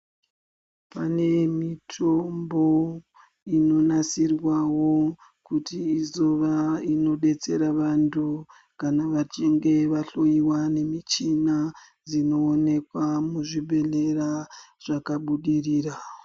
Pane mitombo inonasirwawo kuti izova inodetsera vantu kana vachinge vahloyiwa nemichina dzinoonekwa muzvibhedhlera zvakabudirira.